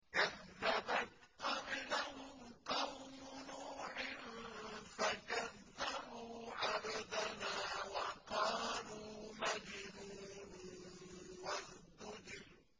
۞ كَذَّبَتْ قَبْلَهُمْ قَوْمُ نُوحٍ فَكَذَّبُوا عَبْدَنَا وَقَالُوا مَجْنُونٌ وَازْدُجِرَ